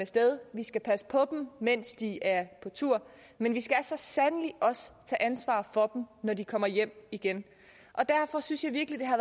sted vi skal passe på dem mens de er på tur men vi skal så sandelig også tage ansvar for dem når de kommer hjem igen derfor synes jeg virkelig det har